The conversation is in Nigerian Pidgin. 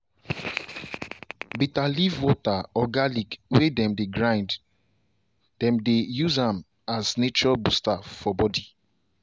bitter leaf water or garlic way dem grind dem dey use am as nature booster for body.